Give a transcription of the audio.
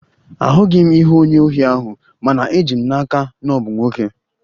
Ahụghị m ihu onye ohi ahụ, mana eji m n'aka na ọ bụ nwoke